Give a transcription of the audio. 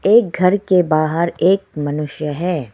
एक घर के बाहर एक मनुष्य है।